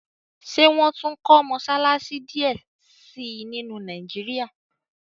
ṣe wón tún kò Mossalassi diẹ sí nínu Nàìjíríà?